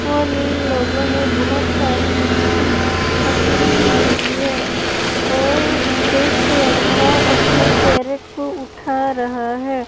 और इन लोगों ने बहुत सारी मछली पकड़ी हुई है और एक लड़का अपने कैरेट को उठा रहा है।